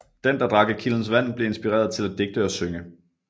Den der drak af kildens vand blev inspireret til at digte og synge